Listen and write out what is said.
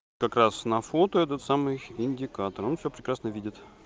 как раз на фото этот самый индикатор он все прекрасно видит